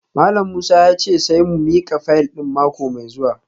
Malam Musa ya ce sai mu mika fayil din mako mai zuwa